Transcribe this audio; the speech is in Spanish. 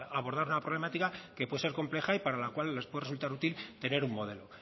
abordar una problemática que puede ser compleja y para la cual les puede resultar útil tener un modelo